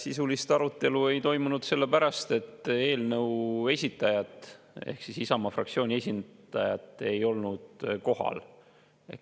Sisulist arutelu ei toimunud sellepärast, et eelnõu esitajat ehk Isamaa fraktsiooni esindajat ei olnud kohal.